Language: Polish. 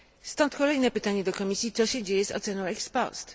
Stąd kolejne pytanie do Komisji co się dzieje z oceną ex post